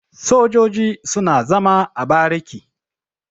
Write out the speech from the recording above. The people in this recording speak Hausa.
Sojoji suna zama a bariki.